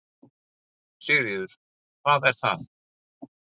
Sigríður: Hvað er það?